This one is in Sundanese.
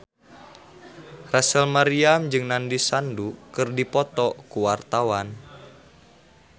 Rachel Maryam jeung Nandish Sandhu keur dipoto ku wartawan